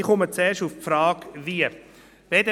Ich komme zuerst zur Frage des «Wie».